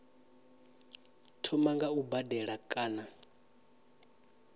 thoma nga u badela kana